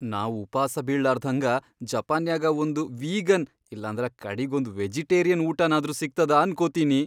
ನಾವ್ ಉಪಾಸ ಬೀಳ್ಲಾರ್ದ್ಹಂಗ ಜಪಾನ್ಯಾಗ ಒಂದ್ ವೀಗನ್ ಇಲ್ಲಂದ್ರ ಕಡೀಗ್ ಒಂದ್ ವೆಜಿಟೇರಿಯನ್ ಊಟನಾದ್ರೂ ಸಿಗ್ತದ ಅನ್ಕೋತೀನಿ.